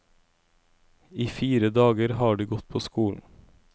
I fire dager har de gått på skolen.